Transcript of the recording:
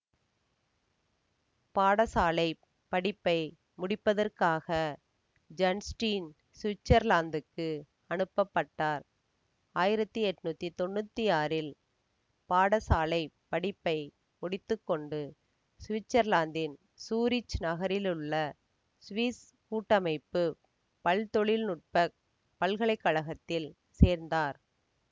பாடசாலை படிப்பை முடிப்பதற்காக ஐன்ஸ்டீன் சுவிட்சர்லாந்துக்கு அனுப்ப பட்டார் ஆயிரத்தி எண்ணூற்றி தொன்னூற்தி ஆறில் பாடசாலை படிப்பை முடித்து கொண்டு சுவிட்சர்லாந்தின் சூரிச் நகரிலுள்ள சுவிஸ் கூட்டமைப்பு பல்தொழில் நுட்ப பல்கலை கழகத்தில் சேர்ந்தார்